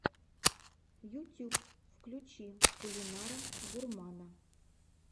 ютюб включи кулинара гурмана